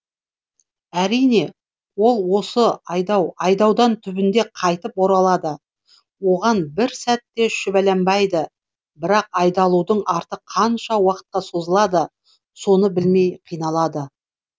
әрине ол осы айдаудан түбінде қайтып оралады оған бір сәт те шүбәланбайды бірақ айдалудың арты қанша уақытқа созылады соны білмей қиналады